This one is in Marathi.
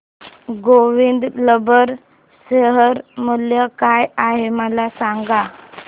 गोविंद रबर शेअर मूल्य काय आहे मला सांगा